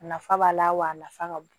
A nafa b'a la wa a nafa ka bon